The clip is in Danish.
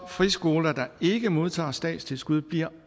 friskoler der ikke modtager statstilskud bliver